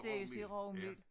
Rugmel ja